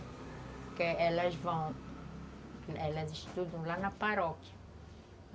Porque elas vão, elas estudam lá na paróquia.